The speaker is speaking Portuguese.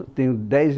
Eu tenho dez